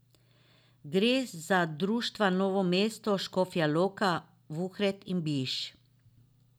Gre za društva Novo mesto, Škofja Loka, Vuhred in Biš.